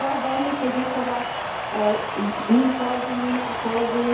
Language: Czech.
Já bych chtěla velmi poděkovat mým kolegyním a kolegům.